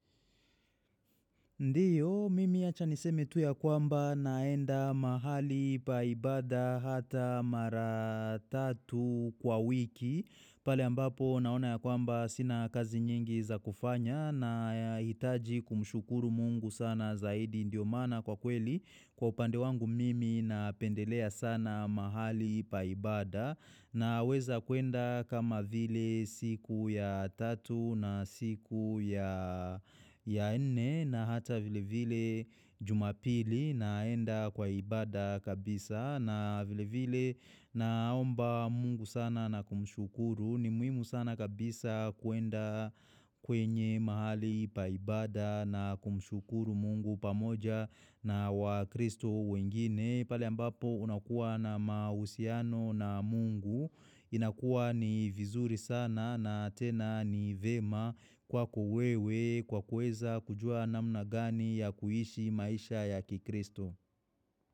Ndiyo, mimi acha niseme tu ya kwamba naenda mahali pa ibada hata mara tatu kwa wiki. Pale ambapo naona ya kwamba sina kazi nyingi za kufanya nahitaji kumshukuru mungu sana zaidi ndio maana kwa kweli. Kwa upande wangu mimi na pendelea sana mahali pa ibada. Na weza kuenda kama vile siku ya tatu na siku ya nne na hata vile vile jumapili naenda kwa ibada kabisa na vile vile naomba mungu sana na kumshukuru ni muhimu sana kabisa kuenda kwenye mahali paibada na kumshukuru mungu pamoja na wakristo wengine. Pale ambapo unakuwa na mahusiano na mungu, inakuwa ni vizuri sana na tena ni vyema kwako wewe, kwa kueza kujua namna gani ya kuishi maisha ya kikristo.